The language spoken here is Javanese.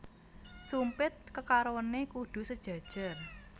Sumpit kekarone kudu sejajar